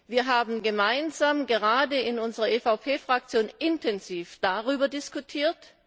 Wir haben gemeinsam gerade in der EVP Fraktion intensiv darüber diskutiert.